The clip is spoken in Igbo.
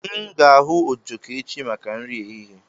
M ga-ahu ojoko echi maka nri ehihie